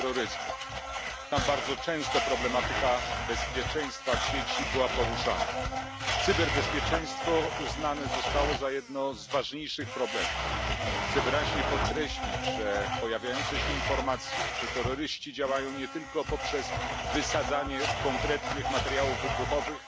terroryzmu. Tam bardzo często problematyka bezpieczeństwa w sieci była poruszana. Cyberbezpieczeństwo uznane zostało za jeden z ważniejszych problemów. Chcę wyraźnie podkreślić pojawiające się informacje, że terroryści działają nie tylko poprzez wysadzanie konkretnych materiałów wybuchowych.